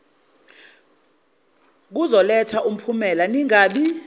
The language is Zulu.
kuzoletha umphumela ningabi